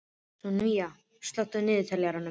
Sunníva, slökktu á niðurteljaranum.